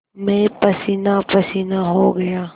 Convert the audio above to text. मैं पसीनापसीना हो गया